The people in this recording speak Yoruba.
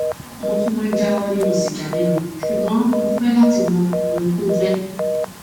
mo tún máa jáwọ nínú sìgá mímu ṣùgbọn mo fẹ láti mọ ohun tó jẹ